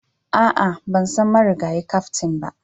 A'a, ban san marigayi kaftin ba,